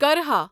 کرہا